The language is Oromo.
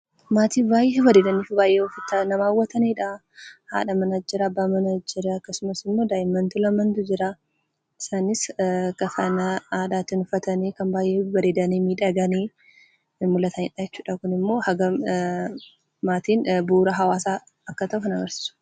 Maatii baay'ee bareedanii fi maati nama hawwatanidha. Haadha manaa jira; abbaa manaa jira. Akkasumas immoo daa'immantu lamaantu jira. Isaanis kafana aadaatiin uffatanii, kan baay'ee babbareedanii, miidhaganii mul'ataniidha jechuudha. Kun immoo hagam, maatiin bu'uura hawwaasaa akka ta'an kan agarsiisudha.